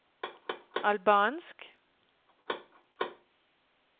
albansk